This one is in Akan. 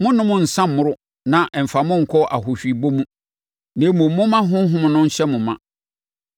Monnnom nsã mmmoro na amfa mo ankɔ ahohwiebɔ mu. Na mmom, momma Honhom no nhyɛ mo ma.